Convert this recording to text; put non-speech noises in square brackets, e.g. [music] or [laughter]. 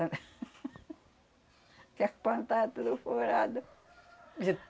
[laughs] que os pano estava tudo furado. De